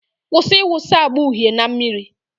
Kwụsị ịwụsa agba uhie na mmiri.